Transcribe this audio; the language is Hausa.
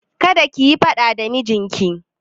Kada kiyi faɗa da mijinki!